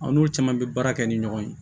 Aw n'o caman bɛ baara kɛ ni ɲɔgɔn ye